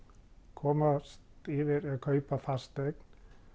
komast yfir að kaupa fasteign